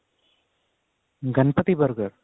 Ganpati burger